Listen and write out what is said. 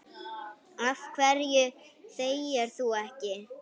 Af hverju þegir þú ekki?